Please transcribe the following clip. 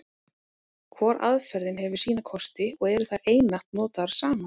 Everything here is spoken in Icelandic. Hvor aðferðin hefur sína kosti, og eru þær einatt notaðar saman.